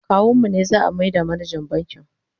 kawun mu ne za'a maida manajan bankin